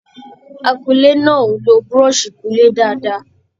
Akúnlé náà o ló búrọ́sì ikunlé dáadáa.